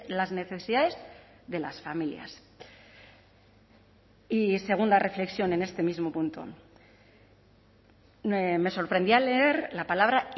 las necesidades de las familias y segunda reflexión en este mismo punto me sorprendí al leer la palabra